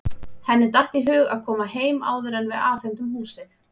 Henni datt í hug að koma heim áður en við afhendum húsið.